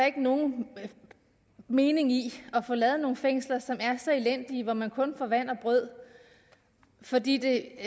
ikke nogen mening i at få lavet nogle fængsler som er så elendige og hvor man kun får vand og brød fordi det